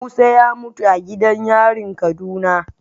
Musa ya mutu a gidan yarin kaduna